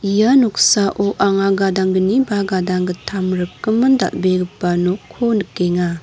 ia noksao anga gadanggni ba gadanggittam rikgimin dal·begipa nokko nikenga.